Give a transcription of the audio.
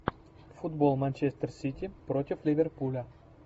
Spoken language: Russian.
футбол манчестер сити против ливерпуля